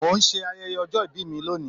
Mo ń ṣe ayẹyẹ ọjọ́ ìbí ni lónìí